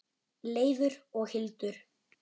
Leifur og Hildur.